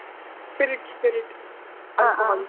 Spirit, spirit .